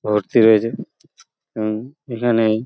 ভর্তি রয়েছে এবং এখানেই --